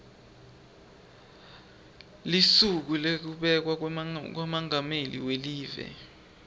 lusuku lwekubekwa kwamengameli welive